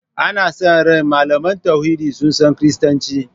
Ana sa ran malaman tauhidi su san Kiristanci.